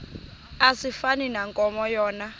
asifani nankomo yona